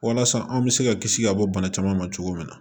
Walasa an bɛ se ka kisi ka bɔ bana caman ma cogo min na